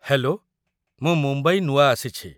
Hello, ମୁଁ ମୁମ୍ବାଇ ନୂଆ ଆସିଛି ।